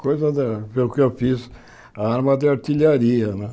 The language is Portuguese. Coisa da... Foi o que eu fiz, a arma de artilharia, né?